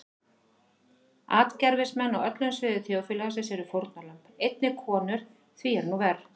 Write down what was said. Atgervismenn á öllum sviðum þjóðfélagsins eru fórnarlömb, einnig konur því er nú verr.